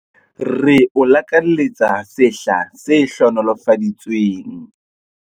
Re o lakaletsa sehla se hlohonolofaditsweng!